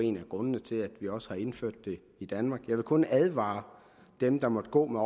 en af grundene til at vi også indførte det i danmark jeg vil kun advare dem der måtte gå med